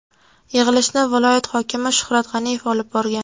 Yig‘ilishni viloyat hokimi Shuhrat G‘aniyev olib borgan.